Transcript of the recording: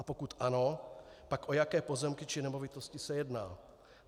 A pokud ano, pak o jaké pozemky či nemovitosti se jedná?